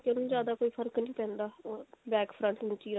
ਕੋਈ ਜਿਆਦਾ ਫਰਕ ਨਹੀਂ ਪੈਂਦਾ back front ਉੱਚੀ ਰੱਖਨ